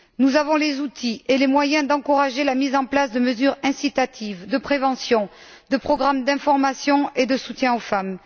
Nous avons les outils et les moyens d'encourager la mise en place de mesures incitatives, de prévention, de programmes d'information et de soutien aux femmes.